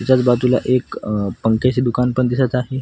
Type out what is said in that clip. त्याचाच बाजूला एक पंख्याचे दुकान पण दिसत आहे.